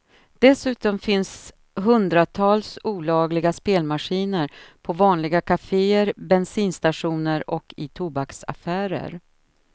Dessutom finns hundratals olagliga spelmaskiner på vanliga kaféer, bensinstationer och i tobaksaffärer.